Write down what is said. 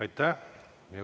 Aitäh!